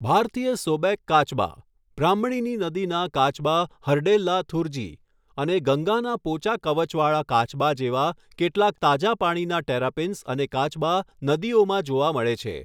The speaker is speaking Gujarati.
ભારતીય સૉબેક કાચબા, બ્રાહ્મણીની નદીના કાચબા હરડેલ્લા થુરજી, અને ગંગાના પોચા કવચવાળા કાચબા જેવા કેટલાક તાજા પાણીના ટેરાપીન્સ અને કાચબા નદીઓમાં જોવા મળે છે.